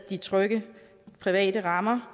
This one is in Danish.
de trygge private rammer